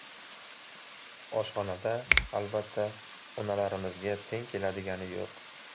Oshxonada albatta, onalarimizga teng keladigani yo‘q.